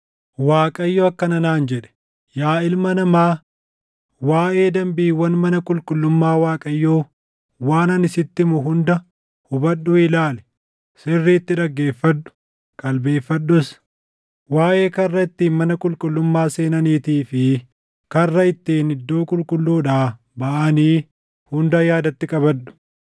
Waaqayyo akkana naan jedhe; “Yaa ilma namaa, waaʼee danbiiwwan mana qulqullummaa Waaqayyoo waan ani sitti himu hunda hubadhuu ilaali; sirriitti dhaggeeffadhu; qalbeeffadhus. Waaʼee karra ittiin mana qulqullummaa seenaniitii fi karra ittiin iddoo qulqulluudhaa baʼanii hunda yaadatti qabadhu.